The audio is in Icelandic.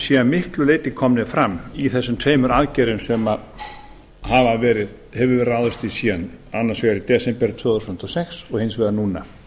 að miklu leyti komnir fram í þessum tveimur aðgerðum sem hefur verið ráðist í síðan annars vegar í desember tvö þúsund og sex og hins vegar núna